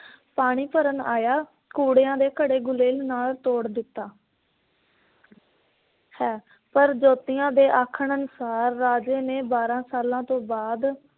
ਪਾਣੀ ਭਰਨ ਆਇਆ ਕੁੜੇਆ ਦੇ ਘੜੇ ਗੁਲੇਲ ਨਾਲ ਤੋੜ ਦਿੱਤਾ। ਹੈ, ਪਰ ਜੋਤੀਆਂ ਦੇ ਆਖਣ ਅਨੁਸਾਰ ਰਾਜੇ ਨੇ ਬਾਰ੍ਹਾਂ ਸਾਲਾਂ ਬਾਦ